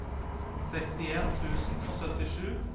sekstien tusen og syttisju